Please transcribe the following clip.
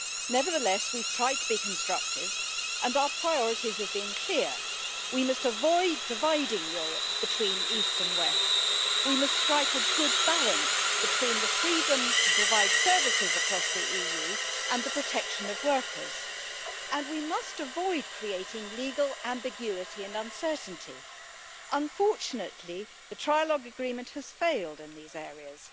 Nevertheless, we have tried to be constructive, and our priorities have been clear we must avoid dividing Europe between east and west, we must strike a good balance between the freedom to provide services across the EU and the protection of workers, and we must avoid creating legal ambiguity and uncertainty. Unfortunately, the trilogue agreement has failed in these areas.